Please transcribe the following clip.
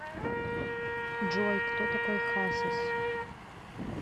джой кто такой хасис